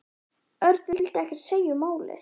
Örn vildi ekkert segja um málið.